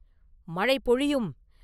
“மழை பொழியும்!